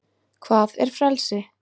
hvað er frelsi